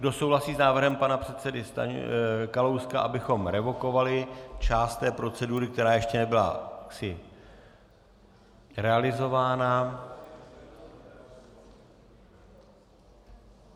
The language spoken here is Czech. Kdo souhlasí s návrhem pana předsedy Kalouska, abychom revokovali část té procedury, která ještě nebyla jaksi realizována?